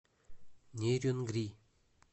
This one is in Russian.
нерюнгри